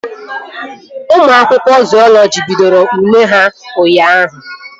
Ụmụ akwụkwọ zuọlọji bidoro ule ha ụnyaahụ